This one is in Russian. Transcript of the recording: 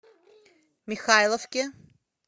михайловки